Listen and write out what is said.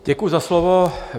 Děkuji za slovo.